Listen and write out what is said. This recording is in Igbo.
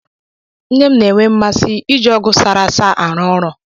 Nne m na-enwe mmasị iji ọgụ sara asa arụ ọrụ.